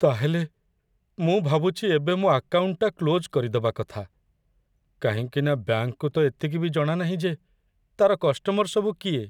ତା'ହେଲେ, ମୁଁ ଭାବୁଛି ଏବେ ମୋ' ଆକାଉଣ୍ଟଟା କ୍ଲୋଜ୍ କରିଦବା କଥା, କାହିଁକିନା ବ୍ୟାଙ୍କ୍‌କୁ ତ ଏତିକି ବି ଜଣାନାହିଁ ଯେ ତା'ର କଷ୍ଟମର ସବୁ କିଏ ।